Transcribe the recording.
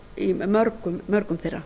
í mörgum þeirra